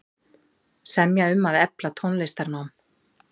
Semja um að efla tónlistarnám